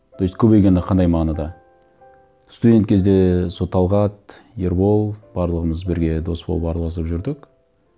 то есть көбейгенде қандай мағынада студент кезде сол талғат ербол барлығымыз бірге дос болып араласып жүрдік